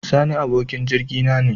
Sani abokin jirgi na ne.